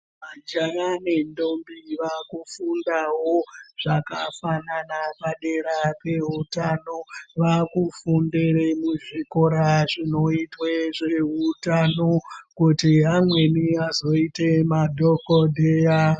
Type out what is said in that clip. Majaha nendombi vakufundawo zvakafanana padera pehutano vakufunda memuzvikora zvinoita zvehutano kuti amweni azoite madhokodheya.